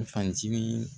Fanjini